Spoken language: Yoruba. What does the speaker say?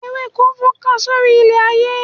Ewéko fọ́nká sórí ilẹ̀ ayé